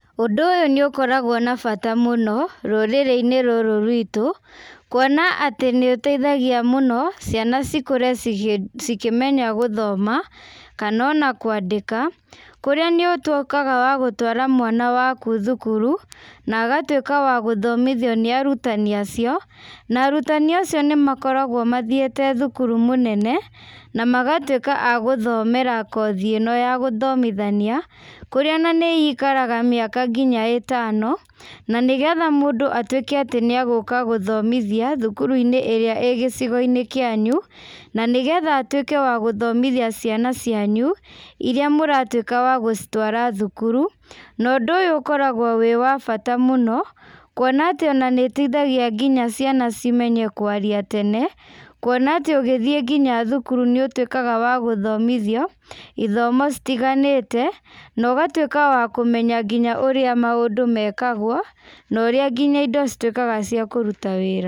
Ũndũ ũyũ nĩ ũkoragwo na bata mũno, rũrĩrĩ-inĩ rũrũ rwitũ, kũona atĩ nĩũteĩthagia mũno ciana cikũre cikĩmenya gũthoma kana ona kwandĩka, kũrĩa nĩ ũtuĩkaga wa gũtua mwana wakũ thũkũrũ na agũtuĩka wa gũthomithio nĩ arũtanĩ acio na arũtanĩ acio, nĩmakoragwo mathiĩte thũkũrũ mũnene, na magatwĩka a gũthomera kothĩ ĩno ya gũthomithania kũrĩa na nĩikara mĩaka ngĩnya ĩtano nanĩgetha mũndũ atwĩke atĩ nĩ egũka gũthomithia thũkũrũ inĩ ĩrĩa ĩgĩcio kĩanyũ, na nĩgetha atwĩke nĩwagũthomithia ciana cianyũ ĩrĩa mũratũĩka wa gũcitwara thũkũrũ, na ũndũ ũyũ ũkoragwo wĩ wa bata mũno, kũona atĩ nĩũteĩthagĩa nginya ciana kũmenya kwaria tene, kũona tĩ ũgĩthiĩ nginya thũkũrũ nĩ ũtwĩkaga wa gũthomithio ĩthomo itĩganĩte no ũgatuĩka wa kũmenya nginya ũrĩa maũndũ mekagwo no ũrĩa nginya indo cituĩke cĩa kũrũta wĩra.